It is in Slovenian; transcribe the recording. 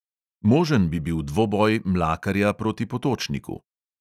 Možen bi bil dvoboj mlakarja proti potočniku.